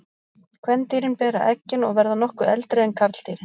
Kvendýrin bera eggin og verða nokkuð eldri en karldýrin.